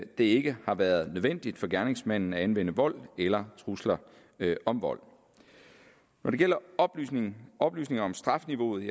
det ikke har været nødvendigt for gerningsmanden at anvende vold eller trusler om vold når det gælder oplysninger oplysninger om strafniveauet